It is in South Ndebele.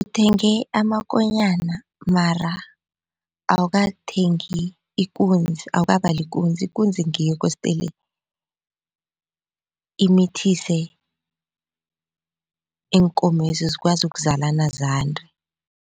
Uthenge amakonyana mara awukathengi ikunzi awukabali ikunzi, ikunzi ngiyo kostele imithise iinkomezi zikwazi ukuzalana zande.